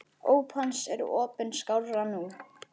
Óp hans er opin skárra nú.